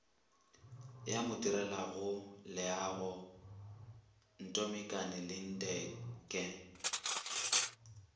ya modirelaleago ntombikanani linde ge